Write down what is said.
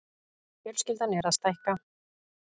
Fjölskyldan er að stækka.